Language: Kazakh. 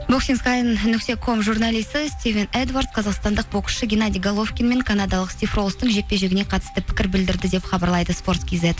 нүкте ком журналисі стивен эдвард қазақстандық боксшы генадий головкин мен канадалық стив ролстың жекпе жегіне қатысты пікір білдірді деп хабарлайды спорт кизет